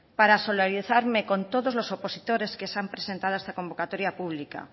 para solidarizarme con todos los opositores que se han presentado a esta convocatoria pública